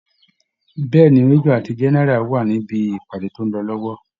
Bẹ́ẹ̀ ni, Major ati General wa níbi ìpàdé tó ń lọ lọ́wọ́